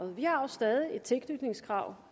vi har jo stadig et tilknytningskrav